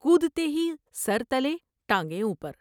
کودتے ہی سر تلے ، ٹانگیں اوپر ۔